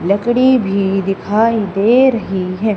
लकड़ी भी दिखाई दे रही है।